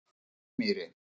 Gauksmýri